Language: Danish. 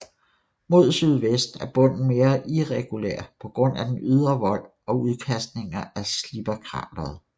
Mod sydvest er bunden mere irregulær på grund af den ydre vold og udkastninger fra Slipherkrateret